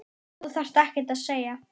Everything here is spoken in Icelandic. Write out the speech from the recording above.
Þú þarft ekkert að segja.